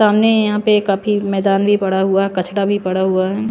सामने यहां पे काफी मैदान भी पड़ा हुआ है कछड़ा भी पड़ा हुआ है।